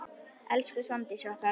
Elsku Svandís okkar.